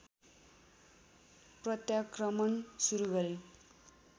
प्रत्याक्रमण सुरू गरे